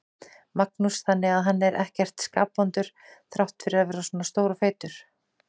Magnús: Þannig að hann er ekkert skapvondur þrátt fyrir að vera svona stór og feitur?